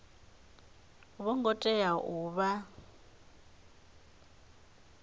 vho ngo tea u vha